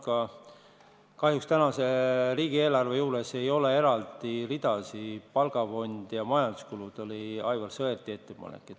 Aga kahjuks praeguse riigieelarve juures ei ole eraldi ridasid palgafondi ja majanduskulude kohta.